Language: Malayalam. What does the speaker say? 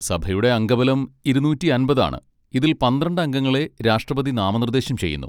സഭയുടെ അംഗബലം ഇരുന്നൂറ്റി അമ്പത് ആണ്, ഇതിൽ പന്ത്രണ്ട് അംഗങ്ങളെ രാഷ്ട്രപതി നാമനിർദ്ദേശം ചെയ്യുന്നു.